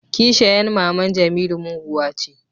kisheyan maman jemilu muguwa ce